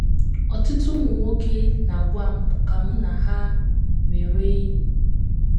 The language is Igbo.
“ Ọtụtụ ụmụ nwoke na - agwa m ka mụ na ha mewe enyi.